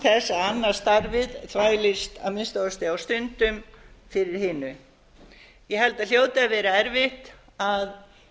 að annað starfið þvælist að minnsta kosti á stundum fyrir hinu ég held að það hljóti að vera erfitt að